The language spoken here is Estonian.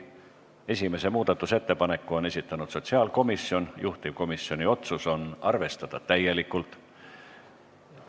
Esimese muudatusettepaneku on esitanud sotsiaalkomisjon, juhtivkomisjoni otsus on arvestada täielikult.